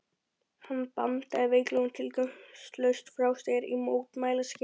Hann bandaði veiklulega og tilgangslaust frá sér í mótmælaskyni.